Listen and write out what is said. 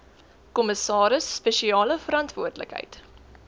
kommissaris spesiale verantwoordelikheid